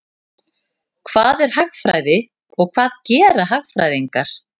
Hvað er hagfræði og hvað gera hagfræðingar?